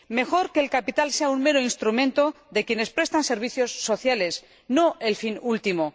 Mejor que el capital sea un mero instrumento de quienes prestan servicios sociales, no el fin último.